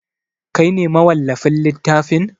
Kai ne mawallafin littafin?